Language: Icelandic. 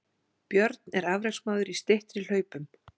Björn er afreksmaður í styttri hlaupum